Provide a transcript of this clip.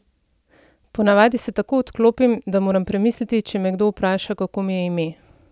Po navadi se tako odklopim, da moram premisliti, če me kdo vpraša, kako mi je ime!